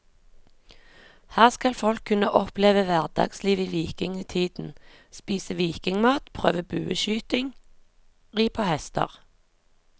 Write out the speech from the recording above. Her skal folk kunne oppleve hverdagsliv i vikingtiden, spise vikingmat, prøve bueskyting, ri på hester.